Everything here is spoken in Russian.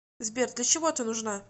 сбер для чего ты нужна